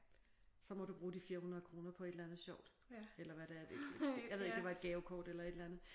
Så må du bruge de 400 kroner på et eller andet sjovt. Eller hvad det er jeg ved ikke det var et gavekort eller et eller andet